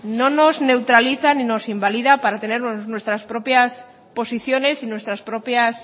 no nos neutraliza ni nos invalida para tener nuestras propias posiciones y nuestras propias